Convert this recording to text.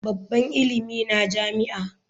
Babban ilimi na jami'a.